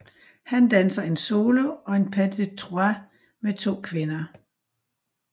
Han danser en solo og en pas des trois med to kvinder